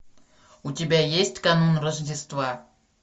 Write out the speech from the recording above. у тебя есть канун рождества